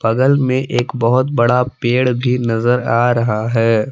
बगल में एक बहुत बड़ा पेड़ भी नजर आ रहा है।